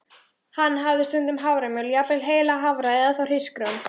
Hann hafði stundum haframjöl, jafnvel heila hafra, eða þá hrísgrjón.